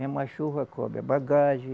Mesmo a chuva cobre a bagagem,